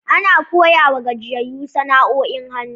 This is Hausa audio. Ana koya wa gajiyayu sana'o'in hannu.